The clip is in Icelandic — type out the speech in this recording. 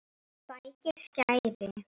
Sækir skæri.